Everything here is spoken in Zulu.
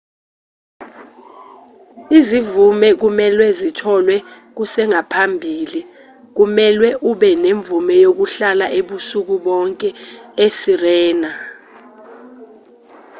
izimvume kumelwe zitholwe kusengaphambili kumelwe ube nemvume yokuhlala ubusuku bonke esirena